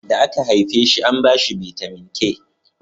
da aka haife shi an bashi bitamin k